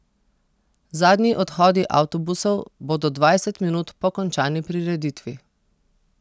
Zadnji odhodi avtobusov bodo dvajset minut po končani prireditvi.